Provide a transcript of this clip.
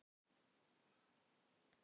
Nesjavellir og Krafla.